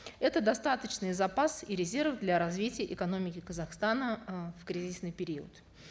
это достаточный запас и резерв для развития экономики казахстана э в кризисный период